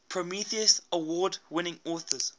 prometheus award winning authors